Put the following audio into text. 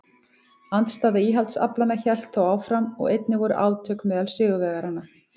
Andstaða íhaldsaflanna hélt þó áfram og einnig voru átök meðal sigurvegaranna.